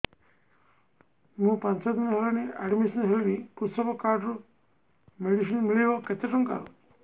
ମୁ ପାଞ୍ଚ ଦିନ ହେଲାଣି ଆଡ୍ମିଶନ ହେଲିଣି କୃଷକ କାର୍ଡ ରୁ ମେଡିସିନ ମିଳିବ କେତେ ଟଙ୍କାର